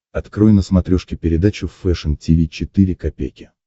открой на смотрешке передачу фэшн ти ви четыре ка